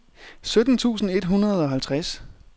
sytten tusind et hundrede og halvtreds